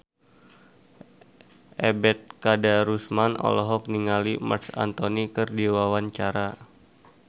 Ebet Kadarusman olohok ningali Marc Anthony keur diwawancara